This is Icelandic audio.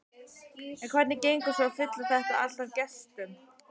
En hvernig gengur svo að fylla þetta allt af gestum?